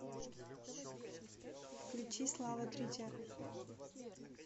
включи слава тритиа